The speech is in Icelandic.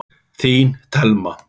Þín Thelma.